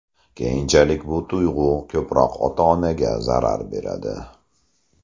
Keyinchalik bu tuyg‘u ko‘proq ota-onaga zarar beradi.